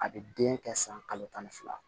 A bɛ den kɛ san kalo tan ni fila